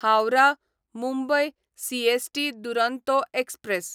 Howrah Mumbai CST Duronto express